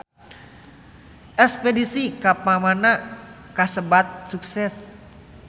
Espedisi ka Panama kasebat sukses